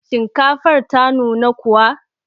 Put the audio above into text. Shinkafar ta nuna kuwa?